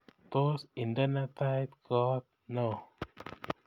Tos indene tait koot neoo